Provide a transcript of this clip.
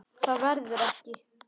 Það verður ekki.